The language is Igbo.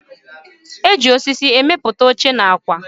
Eji osisi emepụta oche na akwa